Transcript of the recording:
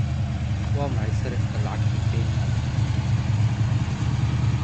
waa maxay sarifka lacagta kenya